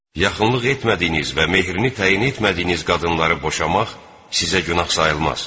Yaxınlıq etmədiyiniz və mehrini təyin etmədiyiniz qadınları boşamaq sizə günah sayılmaz.